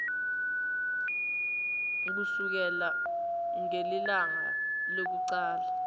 kusukela ngelilanga lekucala